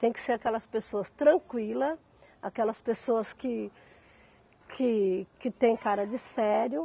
Tem que ser aquelas pessoas tranquilas, aquelas pessoas que que que têm cara de sério.